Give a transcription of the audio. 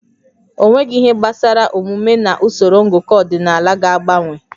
Ọnweghị ihe gbasara omume na usoro ngụkọ ọdịnala ga-agbanwe